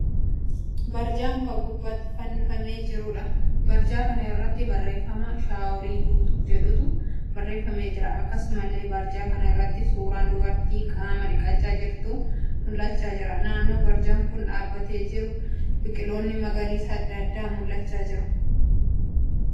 Barjaa muka gubbaatti fannifamee jiruudha. Barjaa kana irraa barreeffama 'shaaworii guutuu' jedhutu barreeffamee jira. akkasumallee barjaa kana irratti suuraan dubartii qaama dhiqachaa jirtuu mul'achaa jira. Naannoo barjaan kun dhaabbatee jiru biqiloonni magariisaa adda addaa mul'achaa jiru.